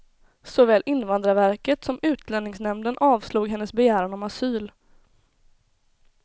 Såväl invandrarverket som utlänningsnämnden avslog hennes begäran om asyl.